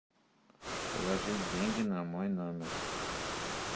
положить деньги на мой номер